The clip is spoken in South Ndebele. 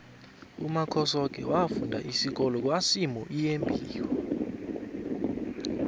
umakhosoke wafunda isikolo kwasimuyembiwa